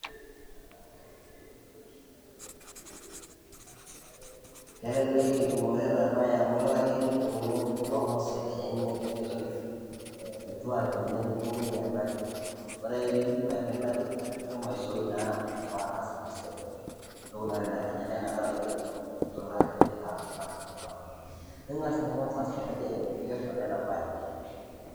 Kelelek entumore ena bae amu ilo ake nidungu kulo ngosil lenyenyek ,nienaki . Ore ake pindip airinaki ashua indipa naa ataasa Ina siai . Niaku naa inakata taa itum nyoo ,Ajo itaasa Ina siai .ningas ninye kwansa aas identification ena bae .